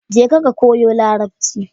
Jeka ka koyo Larabci.